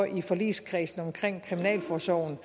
i forligskredsen omkring kriminalforsorgen